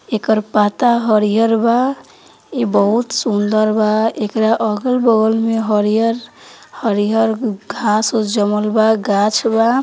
एकरा पत्ता हरियर बा ई बहुत सुन्दर बा येके अगल बगल में हरियर हरियर घास बास जमल बा गाछ बा।